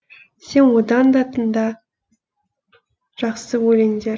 сен одан да тыңда жақсы өлеңдер